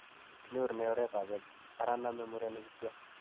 Kinyorune oretab X , ara name murenik kityo.